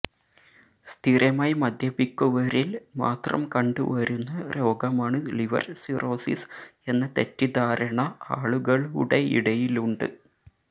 സ്ഥിരമായി മദ്യപിക്കുവരില് മാത്രം കണ്ടുവരുന്ന രോഗമാണ് ലിവര് സിറോസിസ് എന്ന തെറ്റിദ്ധാരണ ആളുകളുടെയിടയിലുണ്ട്